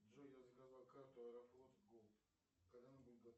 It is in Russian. джой я заказал карту аэрофлот голд когда она будет готова